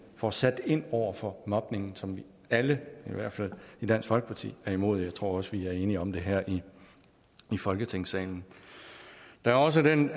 får sat ind over for mobning som vi alle i hvert fald i dansk folkeparti er imod jeg tror også at vi er enige om det her i folketingssalen der er også den